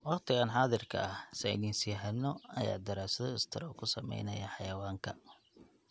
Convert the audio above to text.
Waqtigan xaadirka ah, saynisyahano ayaa daraasado istaroog ku sameynaya xayawaanka.